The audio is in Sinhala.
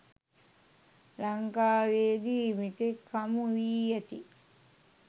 ලංකාවේදී මෙතෙක් හමු වී ඇති